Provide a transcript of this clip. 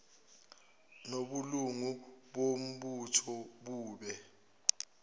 nobulungu bombutho bube